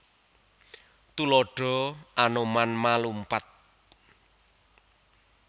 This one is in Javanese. Tuladha Anoman ma lumpat